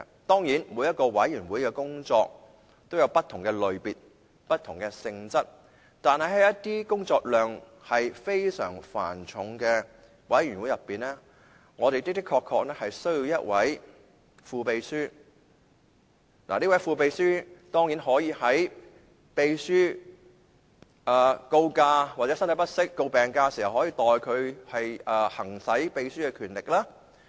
當然，每個委員會的工作也有不同的類別和性質，但是，在一些工作量非常繁重的委員會中，我們的確需要一位副秘書，而這位副秘書可以在秘書告假或身體不適要請病假時，代他行使秘書的權力。